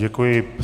Děkuji.